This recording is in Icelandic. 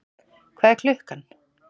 hvað er klukkan?